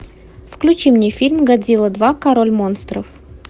включи мне фильм годзилла два король монстров